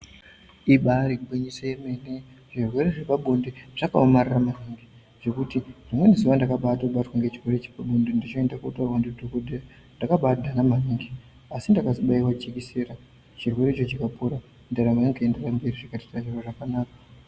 Ibari gwinyiso remene zvirwere zvepabonde zvinoomarara maningi ngekuti rimweni zuwa ndakabatwa nezvirwere zvepabonde zvichienda koita mishando yemadhokodheya zvakabanaka maningi asi ndakabaiwa jekiseni chirwere chikapera ndaramo yoenderera mberi.